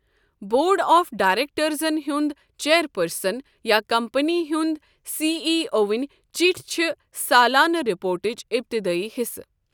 Board of ڈائریکٹرزَن ہُنٛد chairperson یا کمپنی ہُنٛد سی ای اوٕنۍ چِٹھۍ چھےٚ سالانہٕ رپورٹٕچ ابتدٲیی حِصہٕ۔